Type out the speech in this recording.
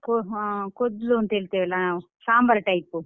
ಹಾ ಕೋದ್ಲು ಅಂತ ಹೇಳ್ತೇವಲ್ಲ ನಾವ್, ಸಾಂಬಾರ್ type ಪು.